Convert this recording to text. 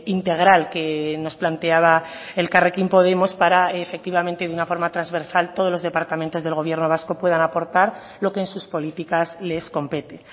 integral que nos planteaba elkarrekin podemos para efectivamente de una forma transversal todos los departamentos del gobierno vasco puedan aportar lo que en sus políticas les compete